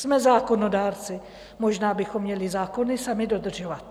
Jsme zákonodárci, možná bychom měli zákony sami dodržovat.